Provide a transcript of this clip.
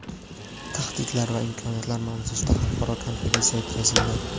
Tahdidlar va imkoniyatlar mavzusida xalqaro konferensiya o‘tkazildi.